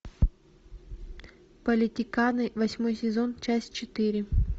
политиканы восьмой сезон часть четыре